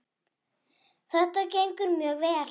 Þetta gengur mjög vel.